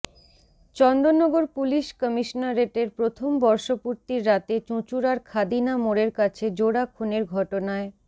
Chandannagar police কমিশনারেটের প্রথম বর্ষপূর্তির রাতে চুঁচুড়ার খাদিনা মোড়ের কাছে জোড়া খুনের ঘটনায়